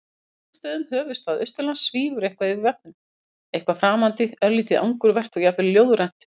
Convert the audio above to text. Á Egilsstöðum, höfuðstað Austurlands, svífur eitthvað yfir vötnum- eitthvað framandi, örlítið angurvært og jafnvel ljóðrænt.